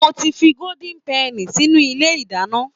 Mo ti fi gódín pẹnì sínú ilé ìdáná